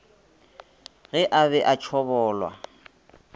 ge a be a tšhobolwa